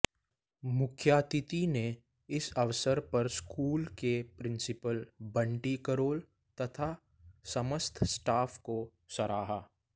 मुख्यातिथि ने इस अवसर पर स्कूल के प्रिंसीपल बंटी करोल तथा समस्त स्टाफ को सराहा